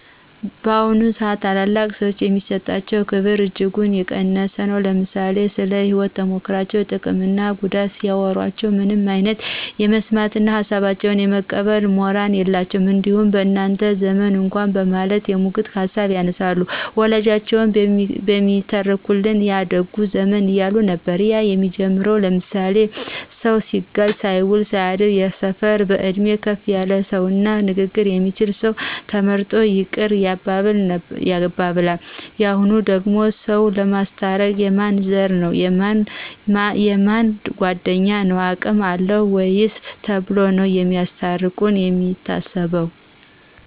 በአሁኑ ስአት ታላላቅ ሰዎች የሚሰጣቸው ክብር እጅጉን የቀነሰ ነው። ለምሳሌ ስለ ህይወት ተሞክሮቸው ጥቅም እና ጉዳት ሲያዎሮቸው ምንም አይነት የመስማት እነ ሀሳባቸውን የመቀበል ሞራል የላቸውም። እንዲያውም በእናንተ ዘመን እኳ በማለት የሙግት ሀሳብ ያነሳሉ። በወላጆቻችን የሚተረክልን ያ ደጉ ዘመን እያሉ ነበር እያሉ የሚጀምሩል ለምሳሌ ስሰው ሲጋጭ ሳይውል ሳያድር የሰፈር በእድሜ ከፍ ያለ ሰው እና ንግግር የሚችል ሰው ተመርጦ ይቅር ያባብላን። የሁኑ ደግሞ ሰዎችን ለማስታረቅ የማን ዘር ነው : የእነ ማን ጓድኞ ነው አቅም አለው ወይ ተብሎ ነው ለማስታርቅ የሚታሰበው